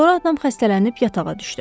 Sonra atam xəstələnib yatağa düşdü.